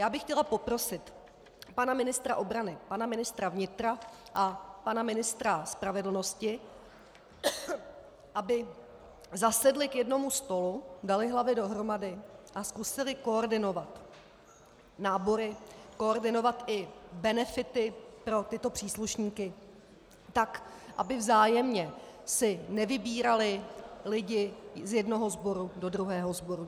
Já bych chtěla poprosit pana ministra obrany, pana ministra vnitra a pan ministra spravedlnosti, aby zasedli k jednomu stolu, dali hlavy dohromady a zkusili koordinovat nábory, koordinovat i benefity pro tyto příslušníky, tak aby vzájemně si nevybírali lidi z jednoho sboru do druhého sboru.